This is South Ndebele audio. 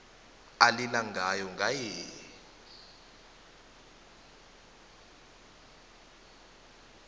alila ngalo ngaye